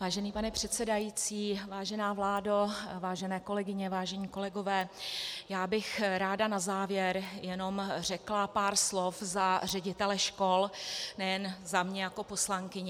Vážený pane předsedající, vážená vládo, vážené kolegyně, vážení kolegové, já bych ráda na závěr jenom řekla pár slov za ředitele škol, nejen za mě jako poslankyni.